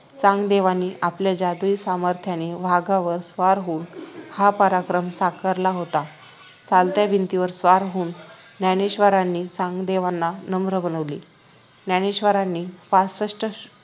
चांगदेवांनी आपल्या जादुई सामर्थ्याचे वाघावर स्वार होऊन हा पराक्रम साकारला होता चालत्या भिंतीवर स्वर होऊन ज्ञानेश्वरांनी चांगदेवांना नम्र बनवले ज्ञानेश्वरांनी पासष्ट